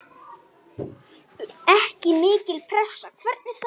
Ekki mikil pressa, hvernig þá?